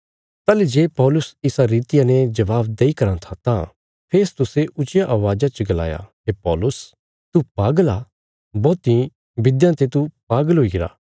ताहली जे पौलुस इसा रितिया ने जवाब देई कराँ था तां फेस्तुसे ऊच्चिया अवाज़ा च गलाया हे पौलुस तू पागल आ बौहती विध्यां ते तू पागल हुईगरा